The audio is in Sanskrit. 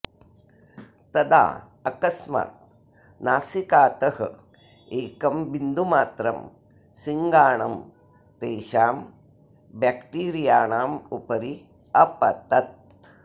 तदा अकस्मात् नासिकातः एकं बिन्दुमात्रं सिङ्गाणं तेषां ब्याक्टीरियाणाम् उपरि अपतत्